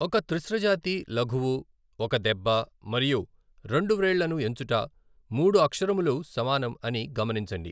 ఒక త్రిశ్ర జాతి లఘువు ఒక దెబ్బ మరియు రెండు వ్రేళ్ళను ఎంచుట, మూడు అక్షరములు సమానం అని గమనించండి.